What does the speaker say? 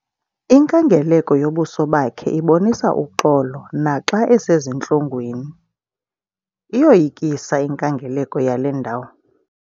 Inkangeleko yobuso bakhe ibonisa uxolo naxa esezintlungwini. iyoyikisa inkangeleko yale ndawo